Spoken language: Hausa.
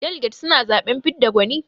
Daliget suna zaɓen fidda gwani.